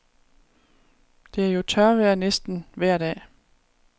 Det er jo tørvejr næsten vejr dag.